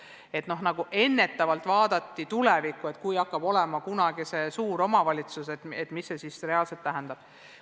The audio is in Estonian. Püüti ennetavalt tulevikku vaadata, et kui kunagi hakkab olema suur omavalitsus, mida see siis reaalselt tähendab.